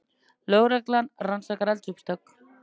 Lögreglan rannsakar eldsupptök